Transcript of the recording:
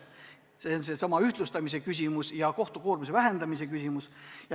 See on seesama ühtlustamise ja kohtu koormuse vähendamise küsimus.